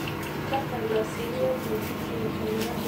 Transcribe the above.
tadala siye ormuziki onyanyok oladuo lagira aining tadekenya